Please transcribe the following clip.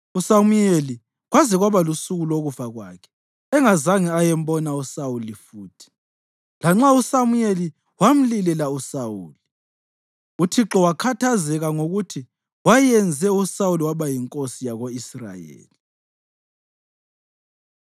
USamuyeli kwaze kwaba lusuku lokufa kwakhe engazange ayembona uSawuli futhi, lanxa uSamuyeli wamlilela uSawuli. Uthixo wakhathazeka ngokuthi wayenze uSawuli waba yinkosi yako-Israyeli.